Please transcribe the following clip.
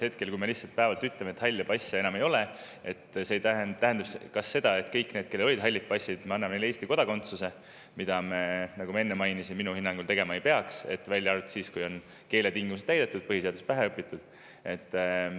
Kui me ütleme, et halle passe enam ei ole, kas see siis tähendab seda, et kõigile neile, kellel olid hallid passid, me anname Eesti kodakondsuse, mida me, nagu ma enne mainisin, minu hinnangul tegema ei peaks, välja arvatud siis, kui keeletingimused on täidetud ja põhiseadus pähe õpitud?